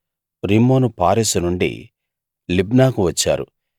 రిమ్మోను పారెసు నుండి లిబ్నాకు వచ్చారు